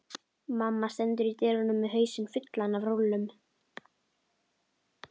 Mamma stendur í dyrunum með hausinn fullan af rúllum.